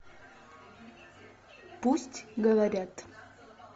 пусть говорят